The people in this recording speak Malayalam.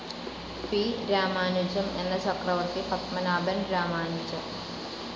പി. രാമാനുജം എന്ന ചക്രവർത്തി പത്മനാഭൻ രാമാനുജം.